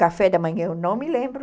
Café da manhã, eu não me lembro.